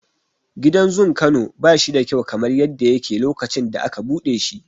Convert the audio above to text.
Gidan zun Kano bashi da kyau kamar yadda yake lokacin da aka buɗe shi.